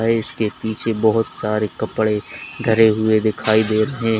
इसके पीछे बहुत सारे कपड़े धरे हुए दिखाई दे रहे हैं।